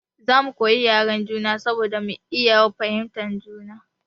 Za mu koyi yaren juna saboda mu iya fahimtar juna.